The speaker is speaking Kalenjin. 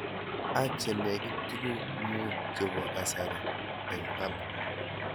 Ak che nekit tuguk mut chepo kasari eng' Hub